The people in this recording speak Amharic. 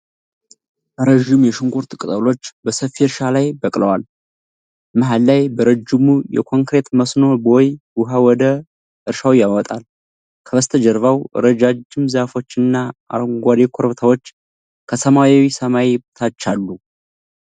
ረጅም የሽንኩርት ቅጠሎች በሰፊ እርሻ ላይ በቅለዋል። መሃል ላይ በረጅሙ የኮንክሪት መስኖ ቦይ ውሃ ወደ እርሻው ያመጣል። ከበስተጀርባ ረጃጅም ዛፎች እና አረንጓዴ ኮረብታዎች ከሰማያዊው ሰማይ በታች አሉ።